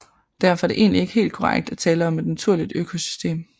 Derfor er det egentlig ikke helt korrekt at tale om et naturligt økosystem